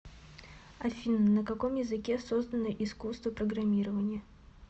афина на каком языке создано искусство программирования